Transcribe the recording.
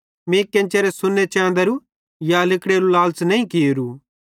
मीं केन्चेरे सोन्ने चेंदारू या लिगड़ां केरू लालच़ नईं कियेरू